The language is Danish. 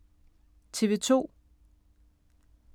TV 2